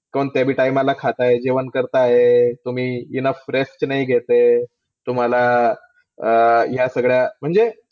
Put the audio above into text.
कोणत्याबी time ला खाताय? जेवण करता है? तुम्ही ENOUGH stress नाही घेत आहे. तुम्हाला अं ह्यासगळ्या, म्हणजे